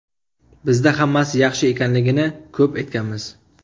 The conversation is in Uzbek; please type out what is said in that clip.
Bizda hammasi yaxshi ekanligini ko‘p aytganmiz.